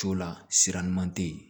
Co la sira ɲuman tɛ yen